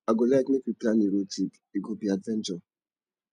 i go like make we plan a road trip e go be adventure